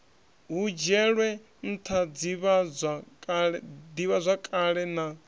hu dzhielwe ntha divhazwakale na